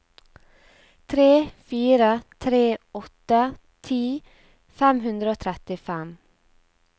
tre fire tre åtte ti fem hundre og trettifem